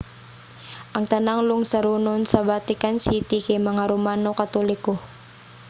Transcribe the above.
ang tanang lungsuranon sa vatican city kay mga romano katoliko